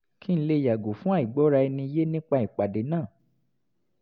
kí n lè yàgò fún àìgbọ́ra-ẹni-yé nípa ìpàdé náà